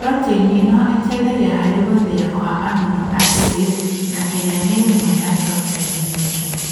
Proteini ĩno ĩteithagia harĩ gũthĩa kwa amino acid, na ĩrĩa nĩ ĩmwe ya proteini nyingi